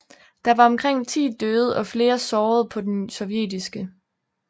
Der var omkring 10 døde og flere sårede på den sovjetiske